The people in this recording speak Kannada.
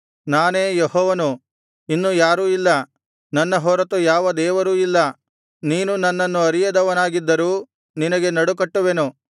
ನಾನೇ ಯೆಹೋವನು ಇನ್ನು ಯಾರೂ ಇಲ್ಲ ನನ್ನ ಹೊರತು ಯಾವ ದೇವರೂ ಇಲ್ಲ ನೀನು ನನ್ನನ್ನು ಅರಿಯದವನಾಗಿದ್ದರೂ ನಿನಗೆ ನಡುಕಟ್ಟುವೆನು